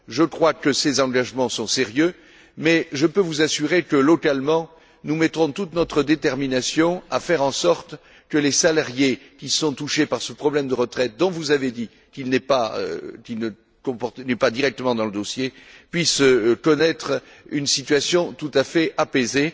Je crois que ces engagements sont sérieux, mais je peux vous assurer que, localement, nous mettrons toute notre détermination à faire en sorte que les salariés qui sont touchés par ce problème de retraite dont vous avez dit qu'il ne figure pas directement dans le dossier puissent connaître une situation tout à fait apaisée.